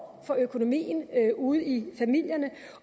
for økonomien ude i familierne